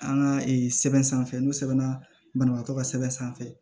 An ka sɛbɛn sanfɛ n'o sɛbɛnna banabagatɔ ka sɛbɛn sanfɛ